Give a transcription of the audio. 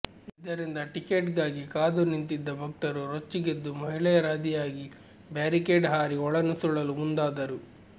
ಇದರಿಂದ ಟಿಕೆಟ್ಗಾಗಿ ಕಾದು ನಿಂತಿದ್ದ ಭಕ್ತರು ರೊಚ್ಚಿಗೆದ್ದು ಮಹಿಳೆಯರಾದಿಯಾಗಿ ಬ್ಯಾರಿಕೇಡ್ ಹಾರಿ ಒಳ ನುಸುಳಲು ಮುಂದಾದರು